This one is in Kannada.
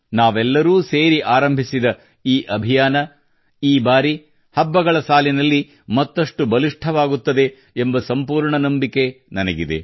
ನಾವೆಲ್ಲರೂ ಸೇರಿ ಆರಂಭಿಸಿದ ಅಭಿಯಾನ ಈ ಬಾರಿ ಹಬ್ಬಗಳ ಸಾಲಿನಲ್ಲಿ ಮತ್ತಷ್ಟು ಬಲಿಷ್ಠವಾಗುತ್ತದೆ ಎಂಬ ಸಂಪೂರ್ಣ ನಂಬಿಕೆ ನನಗಿದೆ